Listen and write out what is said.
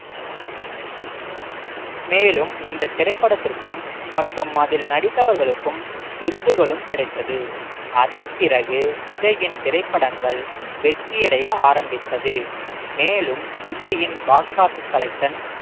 மேலும் இந்த திரைப்படத்திற்கும் மற்றும் அதில் நடித்தவர்களுக்கும் விருதுகளும் கிடைத்தது அதன் பிறகு விஜயின் திரைப்படங்கள் வெற்றியடைய ஆரம்பித்தது மேலும் விஜயின் box office collection